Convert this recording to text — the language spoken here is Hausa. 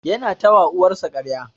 Yana ta wa uwar sa karya.